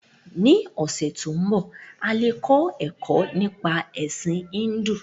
Ní ọ̀sẹ to nbọ, a le kọ ẹkọ nípa Ẹ̀sin Híndù.